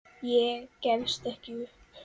Ég gefst ekki upp.